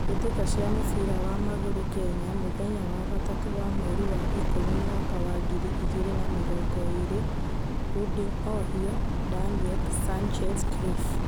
Mbitika cia mũbira wa magũrũ Kenya Mũmũthenya wa gatatũ wa mweri wa Ikũmi mwaka wa ngiri igĩrĩ na mĩrongo ĩĩrĩ: Huding-Ohio , Daniel , Sanchez, Cliff